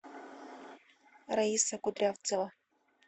раиса кудрявцева